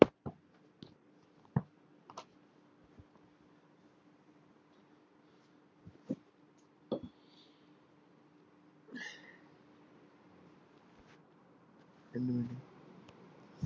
l